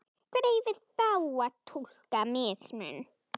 Hvernig eigum við þá að túlka mismun?